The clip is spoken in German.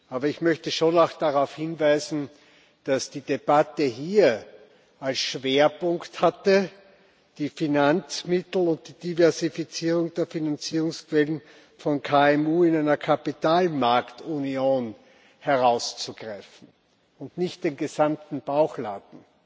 Aber ich möchte schon auch darauf hinweisen, dass die Debatte hier als Schwerpunkt hatte, die Finanzmittel und die Diversifizierung der Finanzierungsquellen von KMU in einer Kapitalmarktunion herauszugreifen und nicht den gesamten Bauchladen.